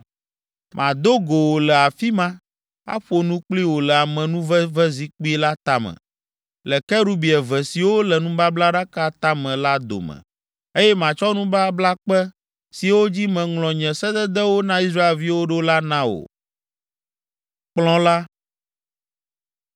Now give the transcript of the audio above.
Mado go wò le afi ma, aƒo nu kpli wò le amenuvevezikpui la tame, le kerubi eve siwo le nubablaɖaka tame la dome, eye matsɔ nubablakpe siwo dzi meŋlɔ nye sededewo na Israelviwo ɖo la na wò.